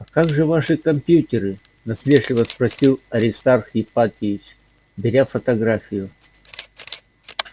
а как же ваши компьютеры насмешливо спросил аристарх ипатьевич беря фотографию